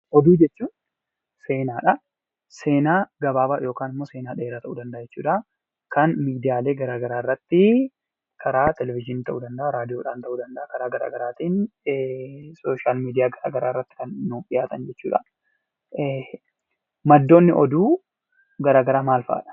Oduu jechuun seenaadha. Seenaa gabaabaa yookaan immoo seenaa dheeraa ta'uu danda'a. Kan miidiyaalee garaa garaa irratti karaa televithinii ta'uu danda'a, raadiyoodhaan ta'uu danda'a. Karaa garaa garaatiin sooshaal miidiyaa garaa garaa irratti kan nuuf dhiyaatan jechuudha. Maddoonni oduu garaa garaa maal fa'adha?